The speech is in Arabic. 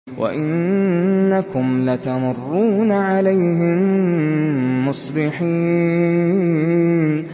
وَإِنَّكُمْ لَتَمُرُّونَ عَلَيْهِم مُّصْبِحِينَ